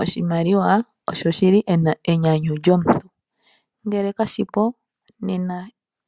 Oshimaliwa osho shili enyanyu lyomuntu. Ngele kashi po nena